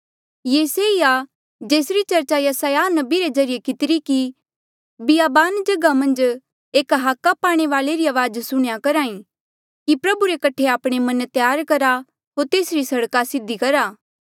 ये से ई आ जेसरी चर्चा यसायाह नबी रे ज्रीए कितिरी कि बियाबान जगहा मन्झ एक हाका पाणे वाल्ऐ री अवाज सुणह्या करहा ई कि प्रभु रे कठे आपणे मन त्यार करा होर तेसरी सड़का सीधी करा